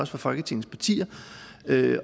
fra folketingets partier